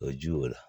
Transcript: O ye ji y'o la